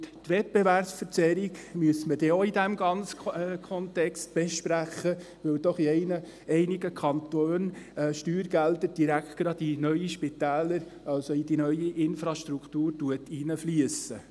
Und die Wettbewerbsverzerrung müssen wir in diesem ganzen Kontext dann auch besprechen, da doch in einigen Kantonen Steuergelder direkt in neue Spitäler, also in die neue Infrastruktur, hineinfliessen.